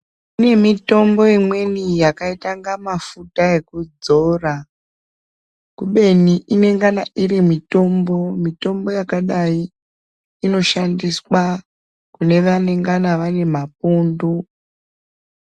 Kune mitombo imweni yakaita inga mafuta ekudzora kubeni inengana iri mitombo. Mitombo yakadayi inoshandiswa kune vanengana vane mapundu.